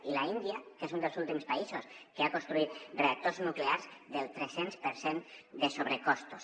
i l’índia que és un dels últims països que ha construït reactors nuclears del tres cents per cent de sobrecostos